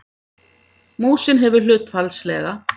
Músin hefur hlutfallslega